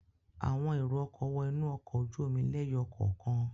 Àwọn èrò-ọkọ̀ wọ inú ọkọ̀ ojú-omi lẹ́yọ kọ̀ọ̀kan.